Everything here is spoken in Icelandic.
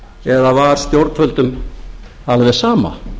eða var stjórnvöldum alveg sama